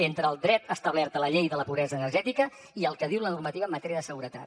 entre el dret establert a la llei de la pobresa energètica i el que diu la normativa en matèria de seguretat